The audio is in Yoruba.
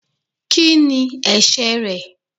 Kí ni ẹ̀ṣẹ̀ rẹ̀?